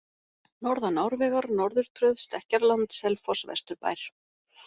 Norðan Árvegar, Norðurtröð, Stekkjarland, Selfoss Vesturbær